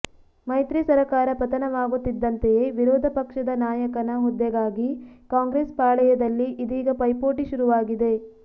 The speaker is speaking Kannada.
ಮೈತ್ರಿ ಸರಕಾರ ಪತನವಾಗುತ್ತಿದ್ದಂತೆಯೇ ವಿರೋಧ ಪಕ್ಷದ ನಾಯಕನ ಹುದ್ದೆಗಾಗಿ ಕಾಂಗ್ರೆಸ್ ಪಾಳಯದಲ್ಲಿ ಇದೀಗ ಪೈಪೋಟಿ ಶುರುವಾಗಿದೆ